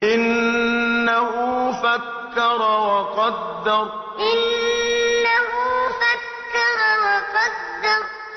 إِنَّهُ فَكَّرَ وَقَدَّرَ إِنَّهُ فَكَّرَ وَقَدَّرَ